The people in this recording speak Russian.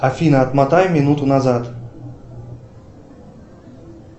афина отмотай минуту назад